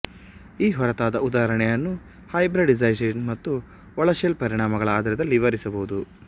ಈ ಹೊರತಾದ ಉದಾಹರಣೆಯನ್ನು ಹೈಬ್ರಿಡೈಸೇಶನ್ ಮತ್ತು ಒಳಶೆಲ್ ಪರಿಣಾಮಗಳ ಆಧಾರದಲ್ಲಿ ವಿವರಿಸಬಹುದು